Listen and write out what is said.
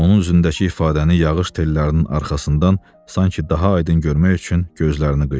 Onun üzündəki ifadəni yağış tellərinin arxasından sanki daha aydın görmək üçün gözlərini qıydı.